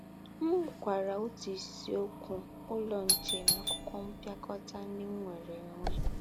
M mụọkwara otu isiokwu Ụlọ Nche n’akwụkwọ mpịakọta ndị m nwere nwere.